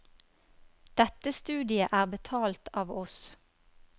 Dette studiet er betalt av oss.